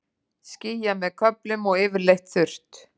Skýjað með köflum og yfirleitt þurrt